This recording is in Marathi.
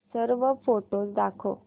सर्व फोटोझ दाखव